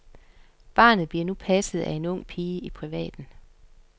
Barnet bliver nu passet af en ung pige i privaten.